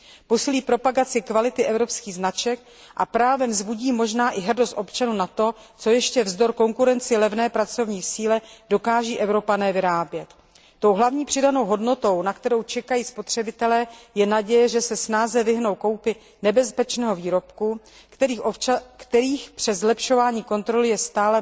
Posílí propagaci kvality evropských značek a právem vzbudí možná i hrdost občanů na to, co ještě vzdor konkurenci levné pracovní síly dokáží Evropané vyrábět. Tou hlavní přidanou hodnotou, na kterou čekají spotřebitelé, je naděje, že se snáze vyhnou koupi nebezpečných výrobků, kterých je přes zlepšování kontroly stále velmi mnoho.